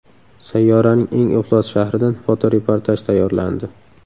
Sayyoraning eng iflos shahridan fotoreportaj tayyorlandi.